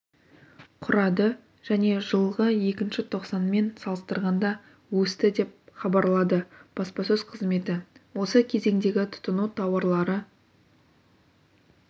құрады және жылғы іі тоқсанмен салыстырғанда өсті деп хабарлады баспасөз қызметі осы кезеңдегі тұтыну тауарлары